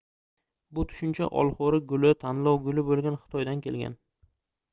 bu tushuncha olxoʻri guli tanlov guli boʻlgan xitoydan kelgan